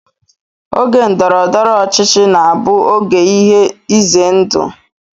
Oge ndọrọndọrọ ọchịchị na-abụ oge ihe ize ndụ